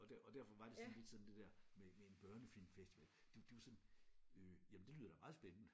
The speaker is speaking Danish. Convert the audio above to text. Og der og derfor var det lidt sådan lidt sådan det der med med en børnefilmfestival det det var sådan øh jamen det lyder meget spændende